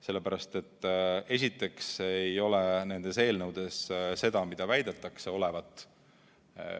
Sellepärast, et esiteks ei ole nendes eelnõudes seda, mida väidetakse olevat.